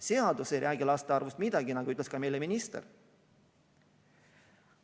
Seadus ei räägi laste arvust midagi, nagu ütles meile ka minister.